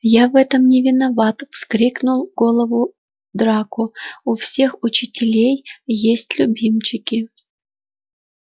я в этом не виноват вскрикнул голову драко у всех учителей есть любимчики